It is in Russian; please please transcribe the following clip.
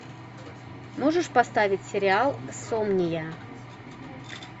можешь поставить сериал сомния